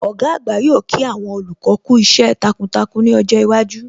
Ọ̀gá àgbà yóò kí àwọn olùkọ́ kú iṣẹ́ takuntakun ní ọjọ́ iwájú